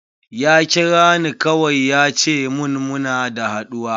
Ya kira ni kawai ya ce mun muna da haɗuwa.